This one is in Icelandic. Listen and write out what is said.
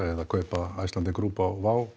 eða kaupa Icelandair á